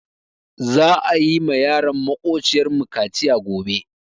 Za'a yi ma yaran maƙociyar mu kaciya gobe.